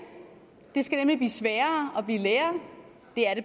det skal nemlig blive sværere at blive lærer det er det